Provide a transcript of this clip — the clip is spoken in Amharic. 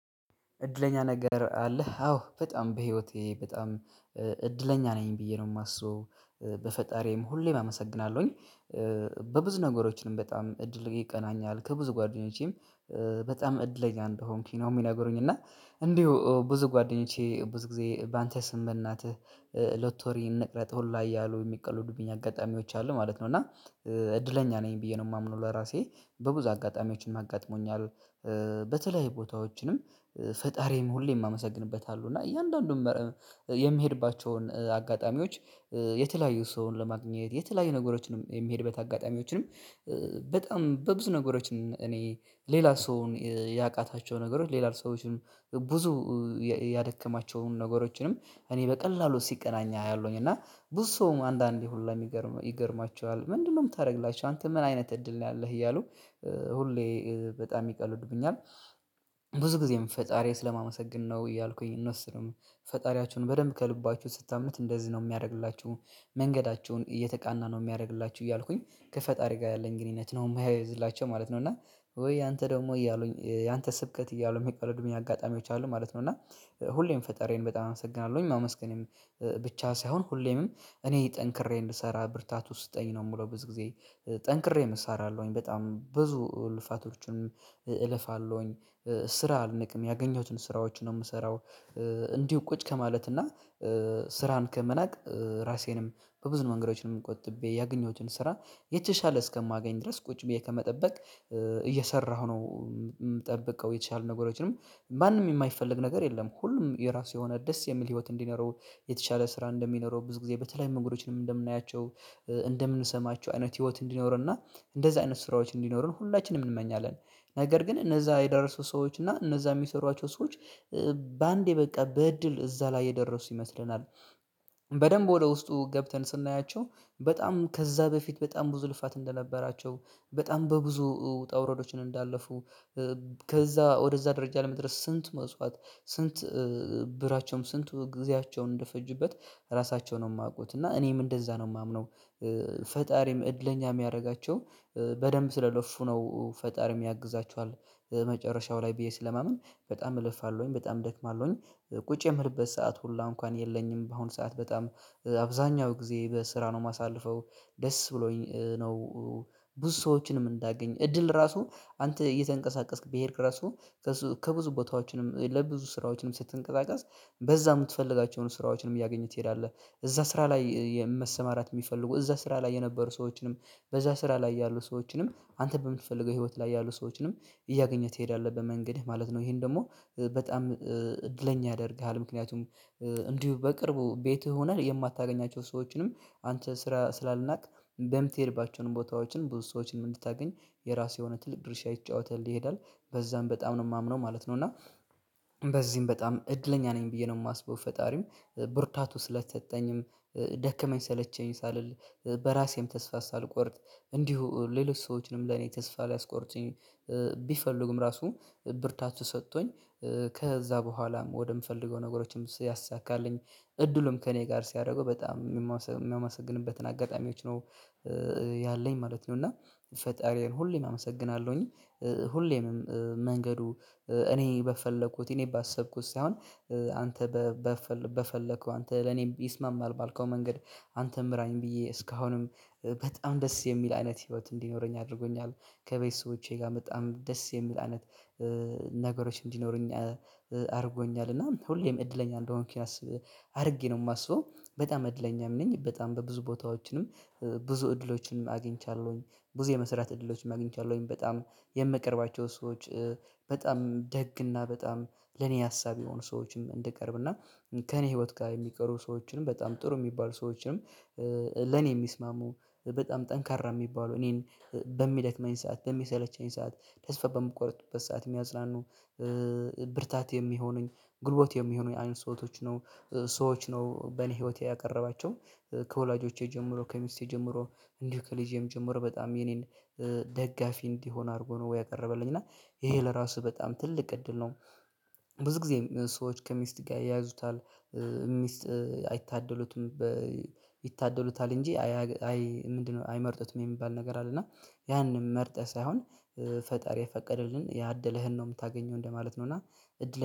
እድለኛ ነገር አለህ አዎ በጣም በህይወቴ በጣም እድለኛ ነኝ ብዬ ነው የማስበው። በፈጣሪም ሁሌም አመሰግናለሁኝ። በብዙ ነገሮችንም በጣም እድል ይቀናኛል ከብዙ ጓደኞቼም። በጣም እድለኛ እንደሆንኩኝ ነው የሚናገሩኝ እና እንዲሁ ብዙ ጓደኞቼ ብዙ ጊዜ በአንተ ስም እናትህ ሎቶሪ እንቅረጥ ሁላ እያሉ የሚቀለዱብኝ አጋጣሚዎች አሉ ማለት ነው። እና እድለኛ ነኝ ብዬ ነው የማምነው ለራሴ በብዙ አጋጣሚዎችን አጋጥሞኛል። በተለይ ቦታዎችንም ፈጣሪም ሁሌም አመሰግንበታለሁ እና እያንዳንዱን የምሄድባቸውን አጋጣሚዎች የተለያዩ ሰውን ለማግኘት የተለያዩ ነገሮችንም የሚሄድበት አጋጣሚዎችንም። በጣም በብዙ ነገሮች እኔ ሌላ ሰውን ያቃታቸው ነገሮች ሌላ ሰዎችን ብዙ ያደከማቸውን ነገሮችንም እኔ በቀላሉ ሲቀናኝ አያለሁኝ እና ብዙ ሰው አንዳንዴ ሁሉ ይገርማችኋል ምንድነው የምታደርግላችሁ አንተ ምን አይነት እድል ነው ያለህ እያሉ ሁሌ በጣም ይቀርብኛል። ብዙ ጊዜም ፈጻሪ ስለማመሰግን ነው እያልኩኝ እንወስድም ፈጣሪያችሁን በደንብ ከልባችሁ ስታምንት እንደዚህ ነው የሚያደርግላችሁ መንገዳቸውን የተቃና ነው የሚያደርግላችሁ እያልኩኝ ከፈጣሪ ጋር ያለኝ ግንኙነት ነው የማያይዝላቸው ማለት ነው። እና ወይ ያንተ ደግሞ እያሉኝ ያንተ ስብከት እያሉ የሚቀርቡኝ አጋጣሚዎች አሉ ማለት ነው። እና ሁሌም ፈጠሬን በጣም አመሰግናለሁኝ የማመስገንም ብቻ ሳይሆን ሁሌምም እኔ ጠንክሬ እንሰራ ብርታት ውስጥ ስጠኝ ነው የምለው ብዙ ጊዜ ጠንክሬ እሰራለሁኝ በጣም ብዙ ልፋቶችን እልፋለሁኝ። ስራ አልነቅም ያገኘሁትን ስራዎች ነው የምሰራው እንዲሁ ቁጭ ከማለት እና ስራን ከመናቅ ራሴንም በብዙ መንገዶች ነው ቆጥቤ ያገኘሁትን ስራ የተሻለ እስከማገኝ ድረስ ቁጭ ብዬ ከመጠበቅ እየሰራሁ ነው። የምጠብቀው የተሻለ ነገሮችንም ማንም የማይፈልግ ነገር የለም ሁሉም የራሱ የሆነ ደስ የሚል ህይወት እንዲኖረው የተሻለ ስራ እንደሚኖረው ብዙ ጊዜ በተለይ መንገዶችንም እንደምናያቸው እንደምንሰማቸው አይነት ህይወት እንዲኖርና እንደዚህ አይነት ስራዎች እንዲኖሩን ሁላችንም እንመኛለን። ነገር ግን እነዛ የደረሱ ሰዎች እና እነዛ የሚሰሯቸው ሰዎች በአንዴ በቃ በእድል እዛ ላይ የደረሱ ይመስለናል። በደንብ ወደ ውስጡ ገብተን ስናያቸው በጣም ከዛ በፊት በጣም ብዙ ልፋት እንደነበራቸው በጣም በብዙ ውጣ ውረዶችን እንዳለፉ። ከዛ ወደዛ ደረጃ ለመድረስ ስንት መስዋት ስንት ብራቸውም ስንት ጊዜያቸውን እንደፈጅበት ራሳቸውን ነው የማውቁት እና እኔም እንደዛ ነው የማምነው። ፈጣሪም እድለኛም ያደረጋቸው ስለለፉ ነው ፈጣሪ የሚያግዛችኋል መጨረሻው ላይ ብዬ ስለማምን በጣም እልፋለሁኝ በጣም ደክማለሁኝ። ቁጭ የምልበት ሰዓት ሁላ እንኳን የለኝም በአሁን ሰዓት በጣም አብዛኛው ጊዜ በስራ ነው የማሳልፈው። ደስ ብሎኝ ነው ብዙ ሰዎችንም እንዳገኝ እድል ራሱ አንተ እየተንቀሳቀስክ በሄድክ ራሱ ከብዙ ቦታዎችንም ለብዙ ስራዎችንም ስትንቀሳቀስ በዛ የምትፈልጋቸውን ስራዎችንም እያገኘህ ትሄዳለህ እዛ ስራ ላይ መሰማራት የሚፈልጉ እዛ ስራ ላይ የነበሩ ሰዎችንም በዛ ስራ ላይ ያሉ ሰዎችንም አንተ በምትፈልገው ህይወት ላይ ያሉ ሰዎችንም እያገኘህ ትሄዳለህ መንገድህ ማለት ነው። ይሄን ደግሞ በጣም እድለኛ ያደርግሃል ምክንያቱም እንዲሁ በቅርቡ ቤትህ ሆነህ የማታገኛቸው ሰዎችንም አንተ ስራ ስላልናቅ በምትሄድባቸውን ቦታዎችን ብዙ ሰዎችን እንድታገኝ የራሱ የሆነ ትልቅ ድርሻ ይጫወታል ይሄዳል በዛም በጣም ነው የማምነው ማለት ነው። እና በዚህም በጣም እድለኛ ነኝ ብዬ ነው የማስበው። ፈጣሪም ብርታቱ ስለተሰጠኝም ደክመኝ ሰለቸኝ ሳልል በራሴም ተስፋ ሳልቆርጥ እንዲሁ ሌሎች ሰዎችንም ለኔ ተስፋ ሊያስቆርጥኝ ቢፈልግም ራሱ ብርታቱ ሰጥቶኝ ከዛ በኋላም ወደምፈልገው ነገሮችም ያሳካልኝ እድሉም ከእኔ ጋር ሲያደርገው በጣም የሚያመሰግንበትን አጋጣሚዎች ነው ያለኝ ማለት ነው እና ፈጣሪዬን ሁሌም አመሰግናለሁኝ። ሁሌምም መንገዱ እኔ በፈለኩት እኔ ባሰብኩት ሳይሆን አንተ በፈለክው አንተ ለኔ ይስማማል ባልከው መንገድ አንተም ምራኝ ብዬ እስካሁንም በጣም ደስ የሚል አይነት ህይወት እንዲኖረኝ አድርጎኛል። ከቤት ሰዎቼ ጋር በጣም ደስ የምጣነት ነገሮች እንዲኖሩኝ አድርጎኛል እና ሁሌም እድለኛ እንደሆንኩኝ አድርጌ ነው የማስበው። በጣም እድለኛም ነኝ በጣም በብዙ ቦታዎችንም ብዙ እድሎችንም አግኝቻለሁኝ። ብዙ የመስራት እድሎችም አግኝቻለሁኝ በጣም የምቀርባቸው ሰዎች በጣም ደግና በጣም ለኔ ሀሳብ የሆኑ ሰዎችም እንደቀረብና ከእኔ ህይወት ጋር የሚቀሩ ሰዎችንም በጣም ጥሩ የሚባል ሰዎችንም። ለኔ የሚስማሙ በጣም ጠንካራ የሚባሉ እኔን በሚለት መኝ ሰዓት በሚሰለቸኝ ሰዓት ተስፋ በምቆረጥበት ሰዓት የሚያጽናኑ ብርታት የሚሆነኝ ጉልበት የሚሆነኝ አይነት ሰዎች ነው ሰዎች ነው በኔ ህይወቴ ያቀረባቸው። ከወላጆቼ ጀምሮ ከሚስቴ ጀምሮ እንዲሁ ከልጄም ጀምሮ በጣም የኔን ደጋፊ እንዲሆን አድርጎ ነው ወይ ያቀረበልኝ እና ይሄ ለራሱ በጣም ትልቅ እድል ነው። ብዙ ጊዜ ሰዎች ከሚስት ጋር ያይዙታል ሚስት አይታደሉትም ይታደሉታል እንጂ አይ ምንድነው አይመርጡትም የሚባል ነገር አለ። እና ያንን መርጠህ ሳይሆን ፈጣሪ የፈቀደልን ያደለህን ነው የምታገኘው እንደማለት ነው። እና እድለ